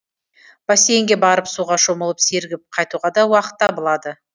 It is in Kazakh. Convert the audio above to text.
бассейнге барып суға шомылып сергіп қайтуға да уақыт табылады